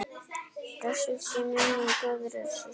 Blessuð sé minning góðrar systur.